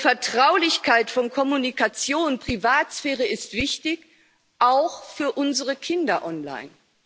Vertraulichkeit von Kommunikation, Privatsphäre ist wichtig auch für unsere Kinder, online.